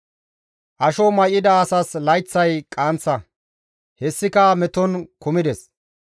«Asho may7ida asas layththay qaanththa; hessika meton kumides.